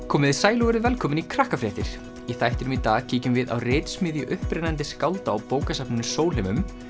komiði sæl og verið velkomin í Krakkafréttir í þættinum í dag kíkjum við á upprennandi skálda á bókasafninu Sólheimum